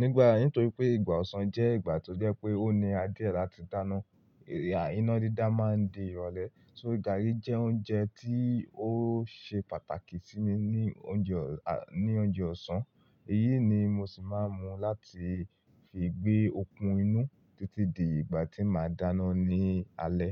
Nígbà, nítorí pé ìgbà ọ̀sán jẹ́ ìgbà tó jẹ́ pé ó níra dié ẹ láti dáná, iná dídá máa ń di irọ̀lẹ́. So gààrí jẹ́ oúnjẹ tí ó ṣe pàtàkì sí mi ní oúnjẹ ọ̀, ní oúnjẹ ọ̀sán. Èyí ni mo sì máa ń mu láti fi gbé okun inú títí di ìgbà tí màá dáná ní alẹ́.